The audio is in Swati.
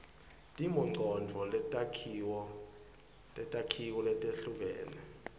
timongcondvo netakhiwo letehlukene